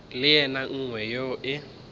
le ye nngwe yeo e